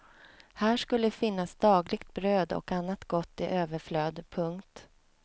Här skulle finnas dagligt bröd och annat gott i överflöd. punkt